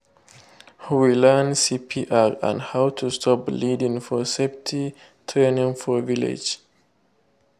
we learn cpr and how to stop bleeding for safety training for village.